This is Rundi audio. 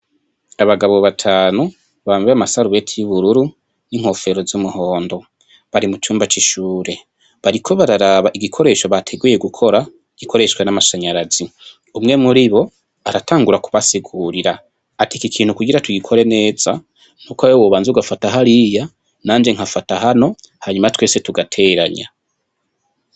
Abagabo batanu bambaye amasarubeti yubururu n'inkofero zumuhondo bari mucumba cishure bariko bararaba igikoresho bateguye gukora gikoreshwa namashanyarazi umwe muribo aratangura kubasigurira ati iki kintu kugira tugikore neza nuko wewe wobanza ugafata hariya nanje nkafata hano hanyuma twese tugateranya.